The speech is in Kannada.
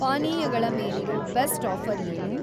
ಪಾನೀಯಗಳ ಮೇಲಿರೋ ಬೆಸ್ಟ್‌ ಆಫ಼ರ್‌ ಏನು?